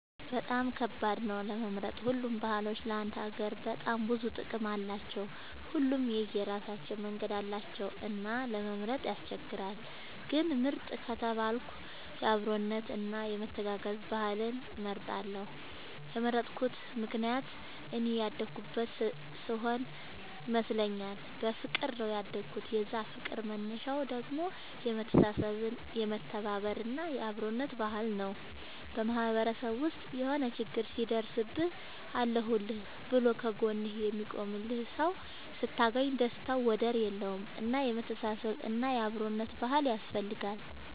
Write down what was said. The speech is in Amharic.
በጣም ከባድ ነው ለመምረጥ ሁሉም ባህሎች ለአንድ ሀገር በጣም ብዙ ጥቅም አላቸው። ሁሉም የራሳቸው መንገድ አላቸው እና ለመምረጥ ያስቸግራል። ግን ምርጥ ከተባልኩ የአብሮነት እና የመተጋገዝ ባህልን እመርጣለሁ የመረጥኩት ምክንያት እኔ ያደኩበት ስሆነ ይመስለኛል። በፍቅር ነው ያደኩት የዛ ፍቅር መነሻው ደግሞ የመተሳሰብ የመተባበር እና የአብሮነት ባህል ነው። በማህበረሰብ ውስጥ የሆነ ችግር ሲደርስብህ አለሁልህ ብሎ ከ ጎንህ የሚቆምልህ ሰው ስታገኝ ደስታው ወደር የለውም። እና የመተሳሰብ እና የአብሮነት ባህል ያስፈልጋል